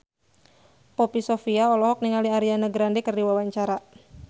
Poppy Sovia olohok ningali Ariana Grande keur diwawancara